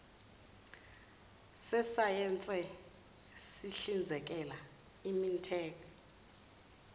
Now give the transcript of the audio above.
sesayense sihlinzekela imintek